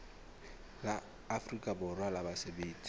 la afrika borwa la basebetsi